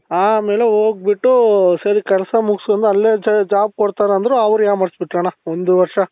ಆಮೇಲೆ ಹೋಗ್ಬಿಟ್ಟು ಸರಿ ಕೆಲ್ಸ ಮುಗುಸ್ಕೊಂಡು ಅಲ್ಲೇ job ಕೊಡ್ತಾರೆ ಅಂದ್ರು ಅವ್ರು ಯಾಮಾರಿಸ್ಬಿಟ್ರಣ್ಣ ಒಂದು ವರ್ಷ